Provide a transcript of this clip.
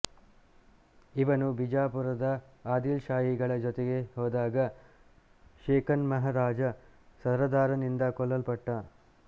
ಇವನು ಬಿಜಾಪುರದ ಆದಿಲ್ಶಾಹಿಗಳ ಜೊತೆ ಹೋದಾಗ ಷೇಖ್ಮಿನಹಾಜ ಸರದಾರನಿಂದ ಕೊಲ್ಲಲ್ಪಟ್ಟ